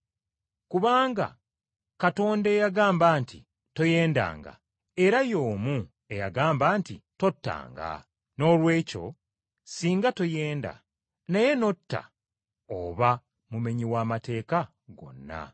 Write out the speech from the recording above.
Kubanga Katonda eyagamba nti, “Toyendanga,” era y’omu eyagamba nti, “Tottanga.” Noolwekyo singa toyenda, naye n’otta oba mumenyi wa mateeka gonna.